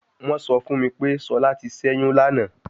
Wọn sọ fun mi pe Shola ti ṣẹyun lana